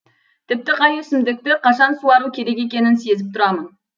тіпті қай өсімдікті қашан суару керек екенін сезіп тұрамын